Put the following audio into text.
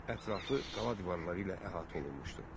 Ətrafı qala divarları ilə əhatə olunmuşdu.